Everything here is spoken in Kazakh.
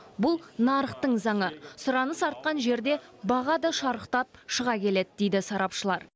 бұл нарықтың заңы сұраныс артқан жерде баға да шарықтап шыға келеді дейді сарапшылар